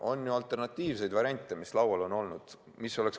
On ka alternatiivseid variante, mis laual on olnud.